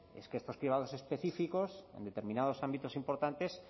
es que estos cribados específicos en determinados ámbitos importantes